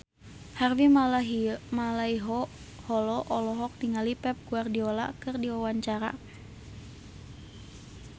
Harvey Malaiholo olohok ningali Pep Guardiola keur diwawancara